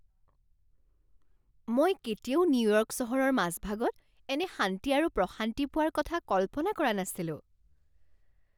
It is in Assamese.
মই কেতিয়াও নিউয়ৰ্ক চহৰৰ মাজভাগত এনে শান্তি আৰু প্ৰশান্তি পোৱাৰ কথা কল্পনা কৰা নাছিলো!